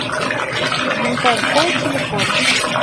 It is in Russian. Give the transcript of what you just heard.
янтарь холл телефон